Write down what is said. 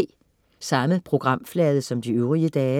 Samme programflade som de øvrige dage